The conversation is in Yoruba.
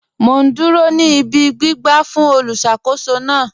Mọ̀ n dúró ní ìbí gbìgbà fún olùṣakòsó náà